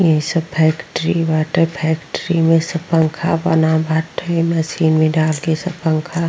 इ सब फैक्ट्री बाटे। फैक्ट्री मे सब पंखा बना बाटे। मशीन में डाल के सब पंखा --